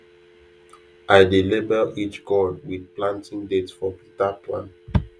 i dey label each gourd with planting date for better plan